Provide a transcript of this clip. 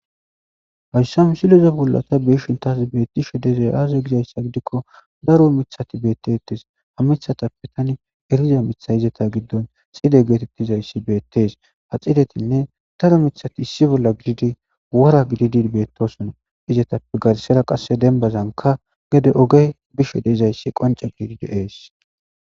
Hayssa msileze bollata biishin tas beetti she dezey aaze gizayssa gidikko daro mithati beettetes ha mithatappe tani eliza mitha izata giddon xide geetettizayssi beettees ha xidetinne taro mithati issi bolla gididi wora gididi beettosona izatappe garsera qasse dembazanka gede oge bishe dezayssi qanca gididi ees.